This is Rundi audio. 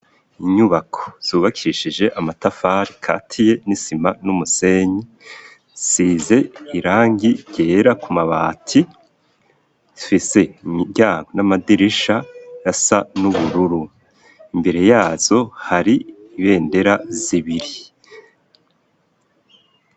Inyubako zubakishije amatafari katiye n'isima n'umusenyi size irangi rera ku mabati fise ryao n'amadirisha ya sa n'ubururu, imbere yazo hari ibendera zibiri.